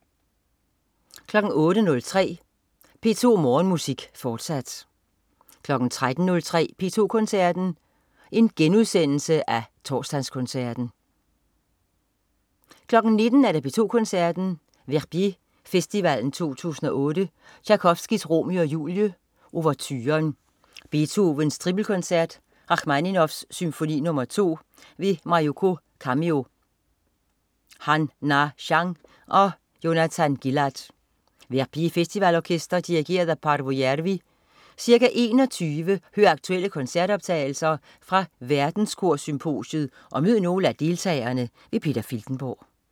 08.03 P2 Morgenmusik, fortsat 13.03 P2 Koncerten. Genudsendelse af Torsdagskoncerten* 19.00 P2 Koncerten. Verbier Festivalen 2008. Tjajkovskij: Romeo og Julie. Ouverture. Beethoven: Tripelkoncert. Rakhmaninov: Symfoni nr. 2. Mayuko Kamio, Han-Na Chang og Jonathan Gilad. Verbier Festivalorkester. Dirigent: Paavo Järvi. Ca. 21.00 Hør aktuelle koncertoptagelser fra Verdenskorsymposiet og mød nogle af deltagerne. Peter Filtenborg